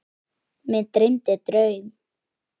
Mig dreymdi draum.